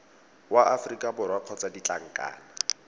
wa aforika borwa kgotsa ditlankana